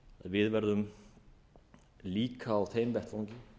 við verðum líka á þeim vettvangi